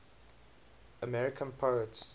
american poets